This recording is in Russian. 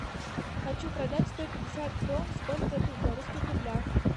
хочу продать сто пятьдесят крон сколько это в белорусских рублях